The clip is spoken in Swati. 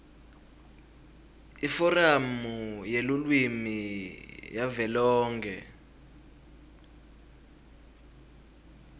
iforamu yelulwimi yavelonkhe